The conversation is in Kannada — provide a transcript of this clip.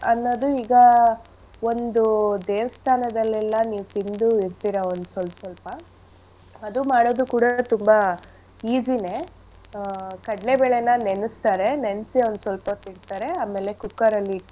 ಅನ್ನೋದು ಈಗ ಒಂದು ದೇವಸ್ಥಾನದಲೆಲ್ಲ ನೀವ್ ತಿಂದು ಇರ್ತೀರಾ ಒಂದ್ ಸೊಲ್ ಸೊಲ್ಪ. ಅದು ಮಾಡೋದು ಕೂಡ ತುಂಬಾ easy ನೇ. ಆ ಕಡ್ಲೆಬೇಳೆನ ನೆನ್ಸ್ತಾರೆ, ನೆನ್ಸಿ ಒಂದ್ ಸೊಲ್ಪ ಹೊತ್ ಇಡ್ತಾರೆ. ಆಮೇಲೆ cooker ಅಲ್ ಇಟ್ಟಿ.